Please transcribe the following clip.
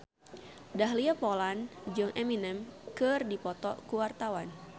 Dahlia Poland jeung Eminem keur dipoto ku wartawan